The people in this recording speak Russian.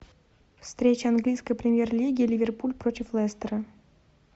встреча английской премьер лиги ливерпуль против лестера